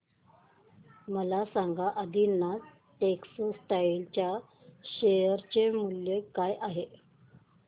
मला सांगा आदिनाथ टेक्स्टटाइल च्या शेअर चे मूल्य काय आहे